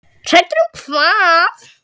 Hræddur um hvað?